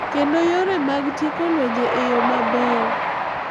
Kendo yore mag tieko lwenje e yo maber.